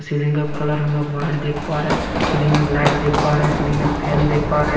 Ceiling का colour हम लोग वाइट देख पा रहे हैं सीलिंग में एक लाईट देख पा रहे हैं सीलिंग में फैन देख पा रहे हैं।